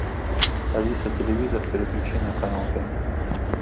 алиса телевизор переключи на канал пять